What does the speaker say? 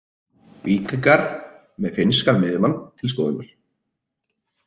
Víkingar með finnskan miðjumann til skoðunar